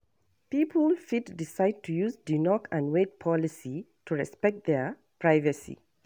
Pipo fit decide to use di knock and wait policy to respect their privacy